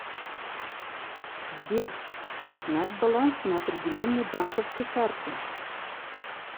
сбер узнать баланс на определенной банковской карте